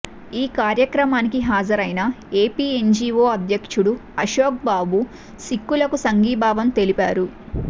ఈ కార్యక్రమానికి హాజరైన ఎపిఎన్జీవో అధ్యక్షుడు అశోక్ బాబు సిక్కులకు సంఘీభావం తెలిపారు